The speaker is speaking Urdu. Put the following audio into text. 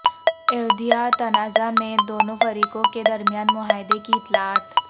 ایودھیا تنازعہ میں دونوں فریقوں کے درمیان معاہدے کی اطلاعات